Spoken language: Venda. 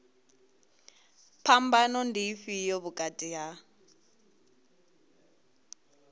phambano ndi ifhio vhukati ha